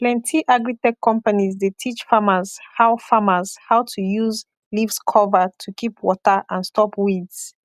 plenty agritech companies dey teach farmers how farmers how to use leaves cover to keep water and stop weeds